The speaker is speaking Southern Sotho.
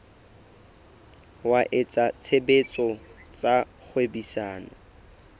wa etsa tshebetso tsa kgwebisano